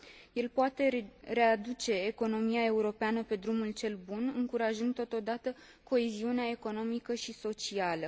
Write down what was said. El poate readuce economia europeană pe drumul cel bun, încurajând totodată coeziunea economică și socială.